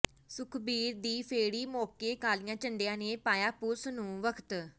ਸੁਖਬੀਰ ਦੀ ਫੇਰੀ ਮੌਕੇ ਕਾਲੀਆਂ ਝੰਡੀਆਂ ਨੇ ਪਾਇਆ ਪੁਲੀਸ ਨੂੰ ਵਖ਼ਤ